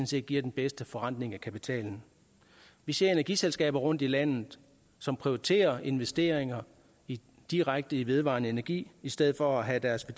set giver den bedste forrentning af kapitalen vi ser energiselskaber rundt i landet som prioriterer investeringer direkte i vedvarende energi i stedet for at have deres